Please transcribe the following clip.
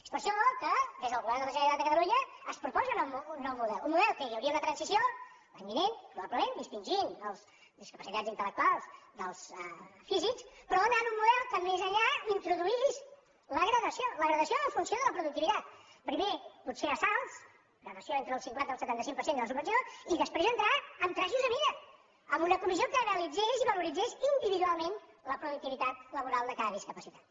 és per això que des del govern de la generalitat de catalunya es proposa un nou model un model que hi hauria una transició l’any vinent probablement dis·tingint els discapacitats intel·lectuals dels físics però anant a un model que més enllà introduís la gradació la gradació en funció de la productivitat primer pot·ser a salts una gradació entre el cinquanta i el setanta cinc per cent de la subvenció i després entrar en trajos a mida amb una comissió que analitzés i valoritzés individualment la productivitat laboral de cada discapacitat